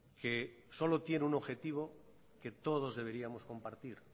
que solo tiene un objetivo que todos deberíamos compartir